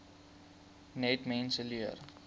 net mense leer